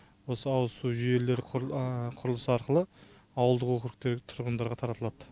осы ауызсу жүйелері құрылысы арқылы ауылдық округтегі тұрғындарға таратылады